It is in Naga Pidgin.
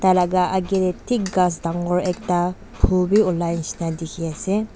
tah lah aage teh thik ghass dangor ekta phull be olai nisna dikhi ase.